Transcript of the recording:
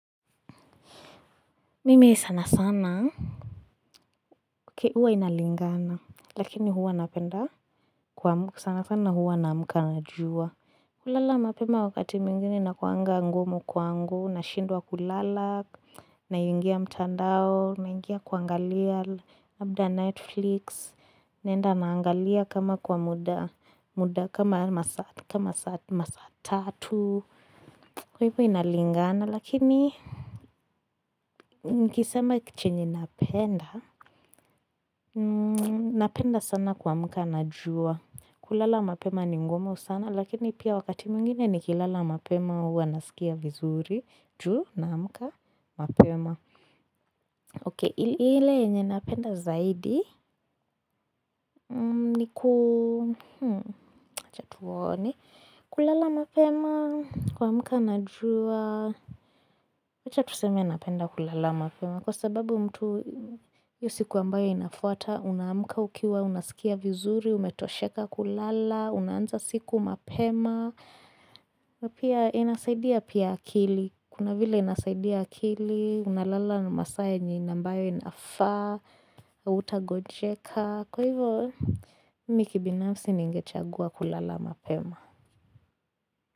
Mimi sana sana huwa inalingana lakini huwa napenda sana sana huwa naamka najua kulala mapema wakati mwingine na inakuanga ngumu na shindwa kulala naingia mtandao naingia kuangalia labda netflix naenda naangalia kama kwa muda kama masaa tatu kwa hivyo inalingana lakini nikisema chenye napenda Napenda sana kuamka na jua kulala mapema ni ngumo sana Lakini pia wakati mwingine ni kilala mapema uwa nasikia vizuri juu naamka mapema Ok, ile yenye napenda zaidi ni ku Chatuoni kulala mapema kuamka najua aCha tuseme napenda kulala mapema Kwa sababu mtu hiyo siku ambao inafuata Unaamka ukiwa, unasikia vizuri, umetosheka kulala Unaanza siku mapema na pia inasaidia pia akili Kuna vile inasaidia akili Unalala nimasaa yenye ni ambayo inafaa hautagonjeka Kwa hivyo, mimi binafsi ningechagua kulala mapema.